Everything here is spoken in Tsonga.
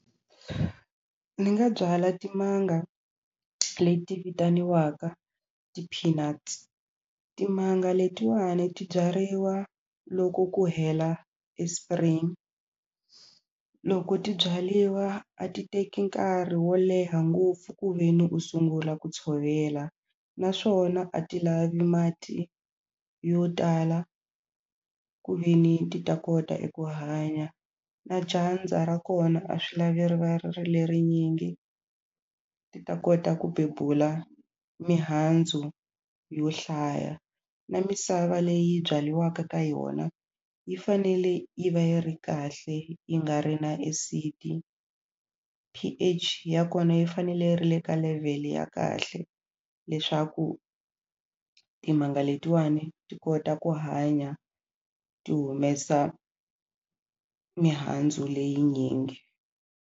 Ni nga byala timanga leti vitaniwaka ti-peanuts timanga letiwani ti byariwa loko ku hela e spring loko ti byaliwa a ti teki nkarhi wo leha ngopfu ku ve ni u sungula ku tshovela naswona a ti lavi mati yo tala ku ve ni ti ta kota eku hanya na dyandza ra kona a swi lavi ri va ri ri lerinyingi ti ta kota ku bebula mihandzu yo hlaya na misava leyi byaliwaka ka yona yi fanele yi va yi ri kahle yi nga ri na acid P_H ya kona yi fanele yi ri le ka level ya kahle leswaku timanga letiwani ti kota ku hanya ti humesa mihandzu leyinyingi.